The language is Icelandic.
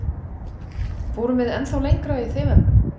Fórum við ennþá lengra í þeim efnum?